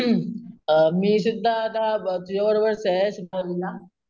ing अम मी सुद्धा आता तुज्या बरोबरच आहे कॉलेज ला.